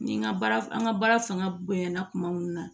Ni n ka baara n ka baara fanga bonyana kuma mun na